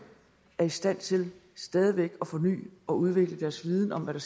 og i stand til stadig væk at forny og udvikle deres viden om hvad